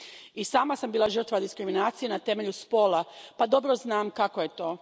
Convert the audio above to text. I sama sam bila žrtva diskriminacije na temelju spola pa dobro znam kako je to.